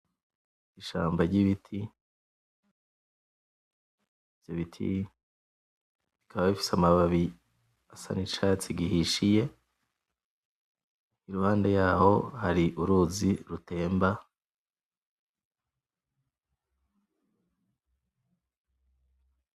Ishamba ry'ibiti ivyo biti bikaba bifise amababi asa n'icatsi gihishiye iruhande yaho hari uruzi rutemba.